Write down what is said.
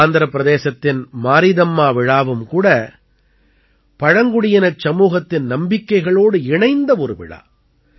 ஆந்திரப் பிரதேசத்தின் மாரீதம்மா விழாவும் கூட பழங்குடியினச் சமூகத்தின் நம்பிக்கைகளோடு இணைந்த ஒரு விழா